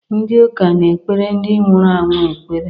Ndị uka na-ekpere ndị nwụrụ anwụ ekpere